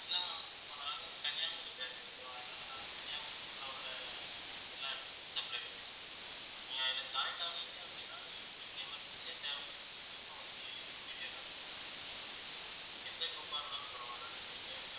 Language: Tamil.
இல்லை ma'am இப்போ நாங்க வந்து கன்னியாகுமரி branch okay வா அதனாலே நாங்க கன்னியாகுமரிக்குள்ளே உள்ள எல்லா இடத்துக்கும் supply பண்ணிட்டுருக்கோம் நீங்க இது joint ஆனீங்க அப்படின்னா நீங்~ உங்களுக்கு emergency யா தேவைப்பட்டுச்சு அப்டினா உடனே immediate குடுத்~ எந்த group ஆ இருந்தாலும் பரவாயில்லை நாங்க எங்கயாச்சும்